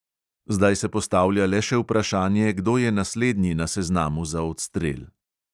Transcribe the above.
Zdaj se postavlja le še vprašanje, kdo je naslednji na seznamu za odstrel.